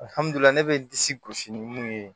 ne bɛ disi gosi ni mun ye